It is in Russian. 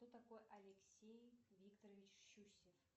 кто такой алексей викторович щусев